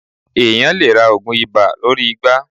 Èeàyàn lè ra oògun ibà lórí igbá.